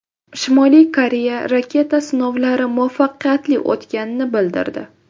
Shimoliy Koreya raketa sinovlari muvaffaqiyatli o‘tganini bildirdi .